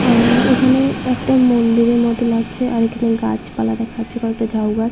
আহহ এইখানে একটা মন্দিরের মতো লাগছে আর এইখানে গাছপালা দেখা যাচ্ছে কয়েকটা ঝাউ গাছ ।